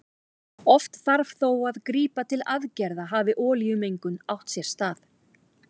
Oft þarf þó að grípa til aðgerða hafi olíumengun átt sér stað.